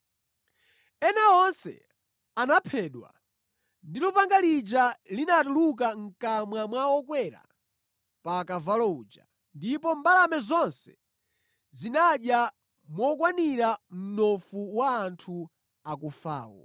Ena onse anaphedwa ndi lupanga lija linatuluka mʼkamwa mwa wokwera pa kavalo uja, ndipo mbalame zonse zinadya mokwanira mnofu wa anthu akufawo.